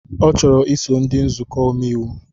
Ọ chọrọ iso ndị nzukọ omeiwu